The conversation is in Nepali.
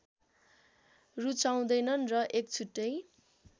रूचाउँदैनन् र एक छुट्टै